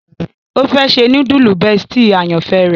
O fẹ ṣe.nudulu bestie àyànfẹ rẹ.